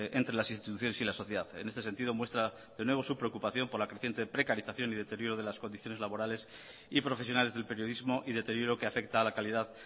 entre las instituciones y la sociedad en este sentido muestra de nuevo su preocupación por la creciente precarización y deterioro de las condiciones laborales y profesionales del periodismo y deterioro que afecta a la calidad